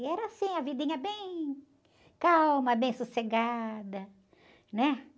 E era assim, a vidinha bem calma, bem sossegada, né?